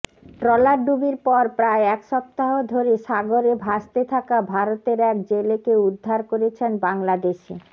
ট্রলারডুবির পর প্রায় এক সপ্তাহ ধরে সাগরে ভাসতে থাকা ভারতের এক জেলেকে উদ্ধার করেছেন বাংলাদেশি